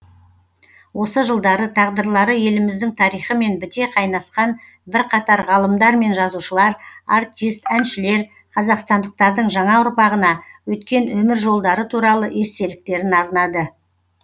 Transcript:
осы жылдары тағдырлары еліміздің тарихымен біте қайнасқан бірқатар ғалымдар мен жазушылар артист әншілер қазақстандықтардың жаңа ұрпағына өткен өмір жолдары туралы естеліктерін арнады